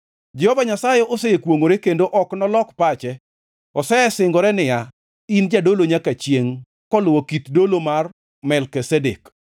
Jehova Nyasaye osekwongʼore kendo ok nolok pache, osesingore niya, “In jadolo nyaka chiengʼ, koluwo kit dolo mar Melkizedek.”